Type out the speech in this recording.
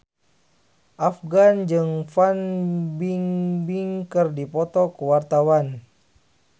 Afgan jeung Fan Bingbing keur dipoto ku wartawan